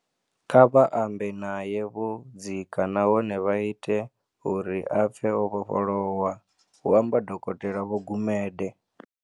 Kha vha ambe nae vho dzika nahone vha ite uri a pfe o vhofholowa," hu amba Dokotela Vho Gumede.